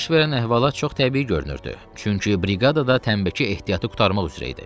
Baş verən əhvalat çox təbii görünürdü, çünki briqadada tənnbəki ehtiyatı qurtarmaq üzrə idi.